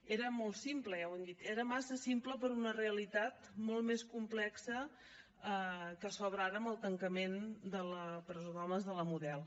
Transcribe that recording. era molt simple ja ho hem dit era massa simple per a una realitat molt més complexa que s’obre ara amb el tancament de la presó d’homes de la model